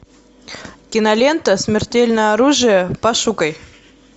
кинолента смертельное оружие пошукай